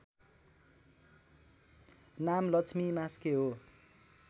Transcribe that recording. नाम लक्ष्मी मास्के हो